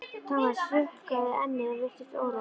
Thomas hrukkaði ennið og virtist órótt.